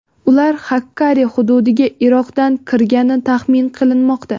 Ular Xakkari hududiga Iroqdan kirgani taxmin qilinmoqda.